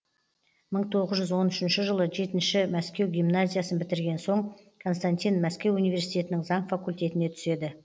мың тоғыз жүз он үшінші жылы жетінші мәскеу гимназиясын бітірген соң константин мәскеу университетінің заң факультетіне түседі